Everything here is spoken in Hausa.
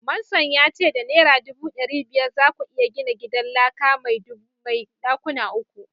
manson ya ce da naira dubu dari biyar za ku iya gina gidan laka mai dakuna uku.